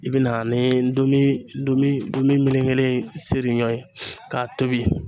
I bina ani donmimeleke melekelen seri ɲɔ ye k'a tobi